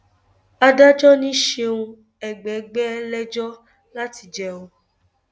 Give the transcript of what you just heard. adájọ ni ṣeun ẹgbẹgbẹ lẹjọ láti jẹ ọ